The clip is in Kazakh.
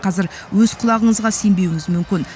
қазір өз құлағыңызға сенбеуіңіз мүмкін